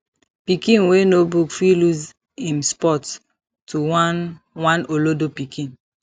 pikin wey know book fit lose em spot to one one olodo pikin